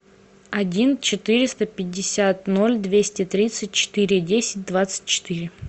один четыреста пятьдесят ноль двести тридцать четыре десять двадцать четыре